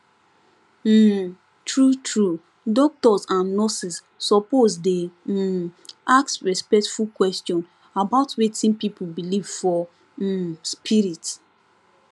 um truetrue doctors and nurses suppose dey um ask respectful question about wetin people believe for um spirit